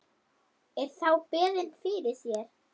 Er þá beðið fyrir sér.